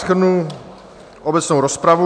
Shrnu obecnou rozpravu.